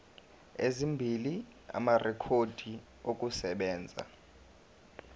ezimbili amarekhodi okusebenza